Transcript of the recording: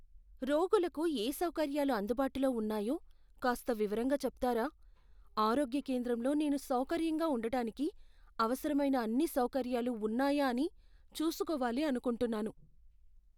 రోగులకు ఏ సౌకర్యాలు అందుబాటులో ఉన్నాయో కాస్త వివరంగా చెప్తారా? ఆరోగ్య కేంద్రంలో నేను సౌకర్యంగా ఉండటానికి అవసరమైన అన్ని సౌకర్యాలు ఉన్నాయా అని చూసుకోవాలి అనుకుంటున్నాను.